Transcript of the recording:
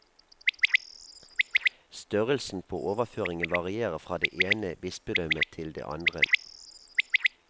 Størrelsen på overføringen varierer fra det ene bispedømmet til det andre.